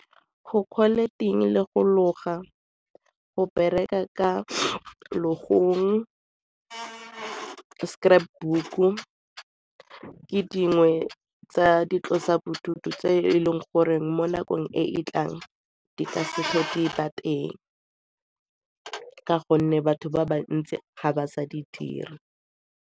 Go ting le go loga, go bereka ka logong, scrapbook-u ke dingwe tsa boitlosobodutu tse e leng gore mo nakong e e tlang di ka se di ba teng ka gonne batho ba bantsi ga ba sa di dira.